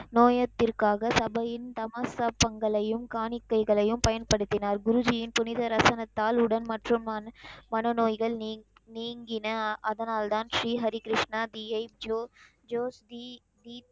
நோயத்திர்க்காக சபையின் சமஸ்த்தப்பங்களையும் காணிக்கைகளையும் பயன்படுத்தினர். குருஜின் புனித ரசனத்தால் உடல் மற்றும் மன, மன நோய்கள் நீ நீங்கின. அதனால்தான் ஸ்ரீ ஹரிகிருஷ்ணர் தீயை ஜோ தி தி தி